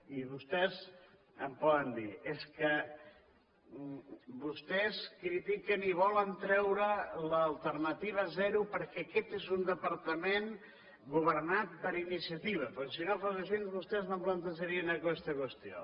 i vostès em poden dir és que vostès critiquen i volen treure l’alternativa zero perquè aquest és un departament governat per iniciativa perquè si no fos així vostès no plantejarien aquesta qüestió